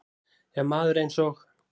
Ef maður eins og